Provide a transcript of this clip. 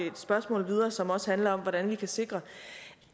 et spørgsmål videre som også handler om hvordan vi kan sikre